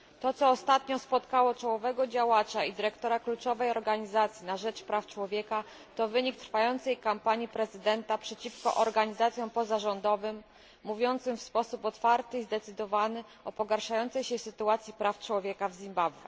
To, co ostatnio spotkało czołowego działacza i dyrektora kluczowej organizacji na rzecz praw człowieka, to wynik trwającej kampanii prezydenta przeciwko organizacjom pozarządowym, mówiącym w sposób otwarty i zdecydowany o pogarszającej się sytuacji praw człowieka w Zimbabwe.